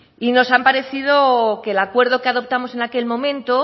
y nos ha parecido que el acuerdo que adoptamos en aquel momento